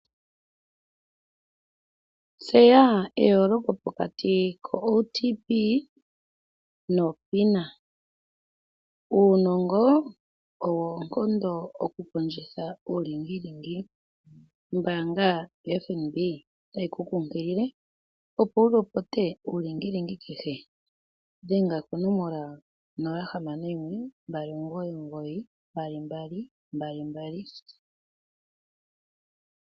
Tseya eyooloko pokati ko OTP no PINA. Uunongo owo oonkondo okukondjitha uulingilingi. Ombaanga yoFNB otayi ku kunkilile opo wu lopote uulingilingi kehe. Dhenga konomola onola hamano yimwe, mbali omugoyi omugoyi noombali yeli ya ne.